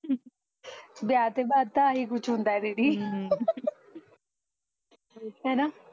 ਵਿਆਹ ਤੇ ਬਾਅਦ ਤਾਂ ਆਹੀ ਕੁਛ ਹੁੰਦਾ ਐ ਦੀਦੀ ਹੈਨਾ